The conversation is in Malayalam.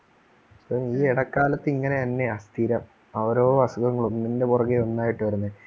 ഈ ഇടക്കാലത്തു ഇങ്ങനെ തന്നെയാ സ്ഥിരം ഓരോ അസുഖങ്ങള്‍ ഒന്നിന്റെ പുറകെ ഒന്നായിട്ടു വരുന്നേ